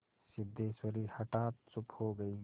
सिद्धेश्वरी हठात चुप हो गई